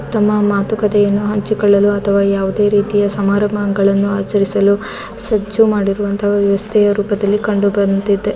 ತಮ್ಮ ಮಾತುಕತೆ ಹಂಚಿಕೊಳ್ಳಲು ಅಥವಾ ಯಾವುದೇ ರೀತಿಯ ಸಮಾರಂಭಗಳನ್ನೂ ಆಚರಿಸಲು ಸಜ್ಜು ಮಾಡಿರುವಂತಹ ವ್ಯವಸ್ಥೆಯ ರೂಪದಲ್ಲಿ ಕಂಡುಬಂದಿದೆ.